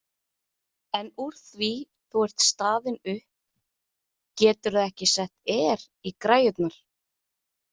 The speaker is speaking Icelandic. En úr því þú ert staðin upp, geturðu ekki sett Air í græjurnar?